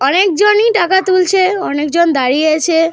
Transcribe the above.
অনেকজনই টাকা তুলছে। অনেকজন দাঁড়িয়ে আছে।